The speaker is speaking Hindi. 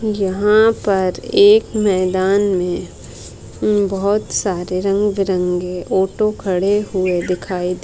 यहाँ पर एक मैदान में बहुत सारे रंग बीरंगे ऑटो खड़े हुए दिखाई दे --